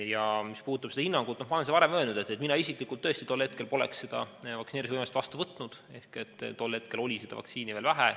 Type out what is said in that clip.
Ja mis puudutab hinnangut, siis ma olen varem öelnud, et mina isiklikult tõesti tol hetkel poleks seda vaktsineerimisvõimalust vastu võtnud, tol hetkel oli vaktsiini veel vähe.